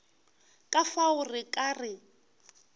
ka fao re ka re